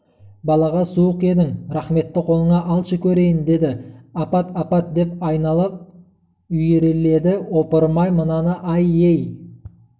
балаға суық едің рахметті қолыңа алшы көрейін деді апат апат деп айналып үйіріледі ойпырмай мынаны-ай ей